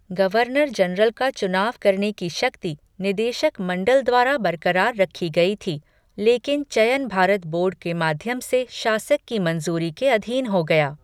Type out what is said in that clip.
Governor general का चुनाव करने की शक्ति निदेशक मंडल द्वारा बरकरार रखी गई थी, लेकिन चयन भारत बोर्ड के माध्यम से शासक की मंजूरी के अधीन हो गया।